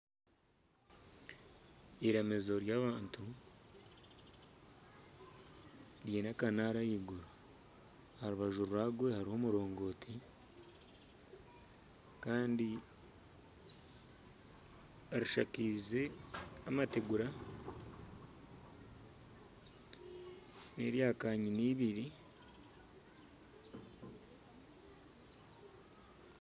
Eiramizo ry'abantu riine akanaara ahaiguru aharubaju rwagwe hariho omurongooti Kandi rishakaize amategura n'erya kanyina ibiri.